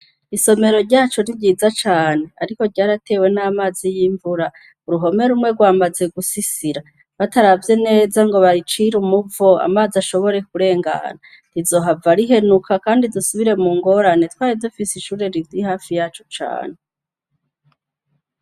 Isomero ryacu ni ryiza cane ariko ryaratewe n'amazi y'imvura, uruhome rumwe rwamaze gusisira. Bataravye nezango bayicire umuvo amazi ashobore kurengana, rizohava rihenuka kandi dusubire mu ngorane twari dufise ishure riri hafi yacu cane.